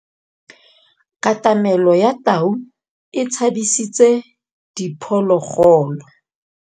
Katamêlô ya tau e tshabisitse diphôlôgôlô.